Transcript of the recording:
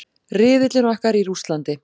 Riðillinn okkar í Rússlandi.